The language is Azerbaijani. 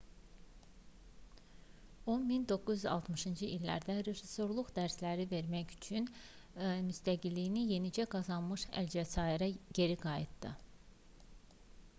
o 1960-cı illərdə rejissorluq dərsləri vermək məqsədilə müstəqilliyini yenicə qazanmış əlcəzairə geri qayıtdı